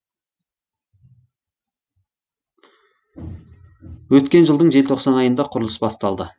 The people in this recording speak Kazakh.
өткен жылдың желтоқсан айында құрылыс басталды